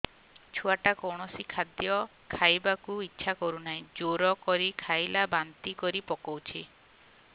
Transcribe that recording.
ଛୁଆ ଟା କୌଣସି ଖଦୀୟ ଖାଇବାକୁ ଈଛା କରୁନାହିଁ ଜୋର କରି ଖାଇଲା ବାନ୍ତି କରି ପକଉଛି